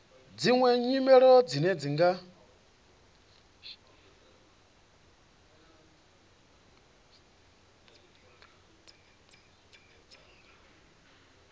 dziṅwe nyimelo dzine dza nga